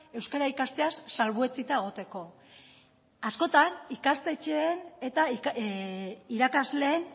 euskara ikasteaz salbuetsita egoteko askotan ikastetxeen eta irakasleen